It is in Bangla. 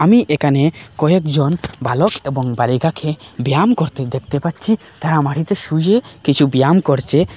আমি এখানে কয়েকজন বালক এবং বালিকাকে ব্যায়াম করতে দেখতে পাচ্ছি তারা মাটিতে শুয়ে কিছু ব্যায়াম করছে।